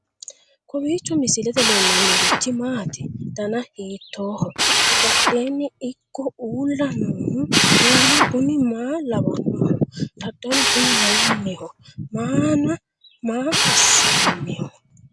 kowiicho misilete leellanorichi maati ? dana hiittooho ?abadhhenni ikko uulla noohu kuulu kuni maa lawannoho? dadalu kuni mayinniho maana maa assinaniho